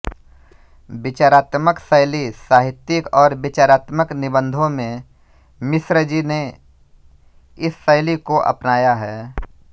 विचारात्मक शैली साहित्यिक और विचारात्मक निबंधों में मिश्रजी ने इस शैली को अपनाया है